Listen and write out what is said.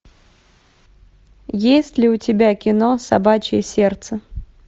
есть ли у тебя кино собачье сердце